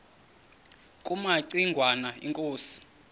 kumaci ngwana inkosi